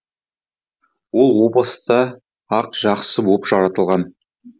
ол о баста ақ жақсы боп жаратылған